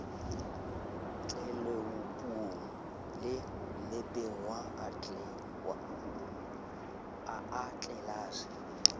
tleloupung le mmapeng wa atlelase